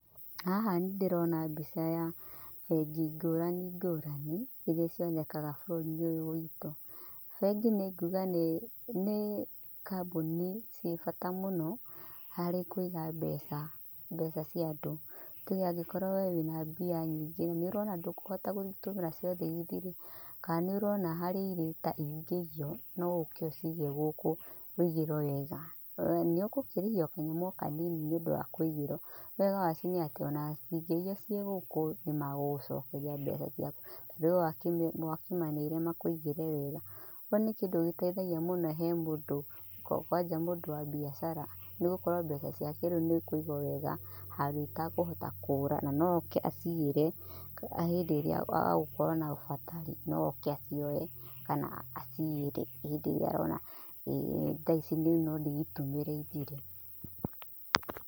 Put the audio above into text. Haha nĩ ndĩrona mbica ya bengi ngũrani ngũrani iria cionekaga bũrũri-inĩ ũyũ witũ. Bengi nĩ nguga nĩ, nĩ kambuni ciĩ bata mũno harĩ kũiga mbeca, mbeca cia ũndũ. Tuge angĩkorwo we wĩna mbia nyingĩ nĩ ũrona ndũkũhota gũtũmĩra ciothe ithire kana nĩ ũrona harĩa irĩ ta ingĩiyo no ũke ũcige gũkũ wĩigũrwo wega. We nĩ ũgũkĩrĩhio o kanyamũ o kanini nĩ ũndũ wa gũkĩigĩrwo. No wega wacio nĩ atĩ ona cingĩiyo ciĩgũkũ nĩmagũgũcokeria mbeca ciaku, tondũ we wakĩmaneire makũigĩre wega. kĩo nĩ kĩndũ gĩteithagia mũno he mũndũ kwanja mũndũ wa mbiacara nĩ gũkorwo mbeca ciake rĩu nĩ ikũigwo wega handũ itakũhota kũra na no oke acigĩre hĩndĩ ĩrĩa agũkorwo na bata no oke acioe kana acigĩre hĩndĩ ĩrĩa arona thaa ici no ndĩitũmĩre ithire.